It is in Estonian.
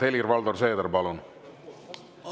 Helir-Valdor Seeder, palun!